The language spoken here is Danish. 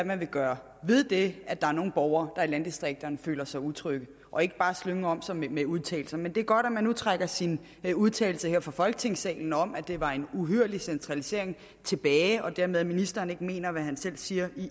man vil gøre ved det at der er nogle borgere der i landdistrikterne føler sig utrygge og ikke bare slynge om sig med udtalelser men det er godt at man nu trækker sin udtalelse her fra folketingssalen om at det var en uhyrlig centralisering tilbage og dermed at ministeren ikke mener hvad han selv siger